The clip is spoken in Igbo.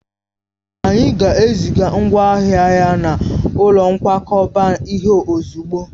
Anyị ga-eziga ngwa ahịa n'ụlọ nkwakọba ihe ozugbo